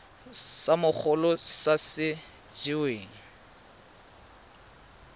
sa mogolo sa se weng